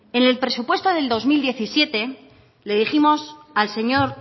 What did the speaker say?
en el presupuesto de dos mil diecisiete le dijimos al señor